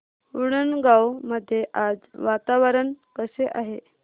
उंडणगांव मध्ये आज वातावरण कसे आहे